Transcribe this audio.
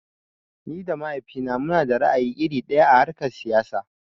Ni da mahaifina munada ra'ayi iri ɗaya a harkar siyasa.